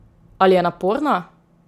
Ali je naporna?